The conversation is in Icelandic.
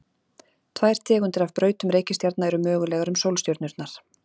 Tvær tegundir af brautum reikistjarna eru mögulegar um sólstjörnurnar.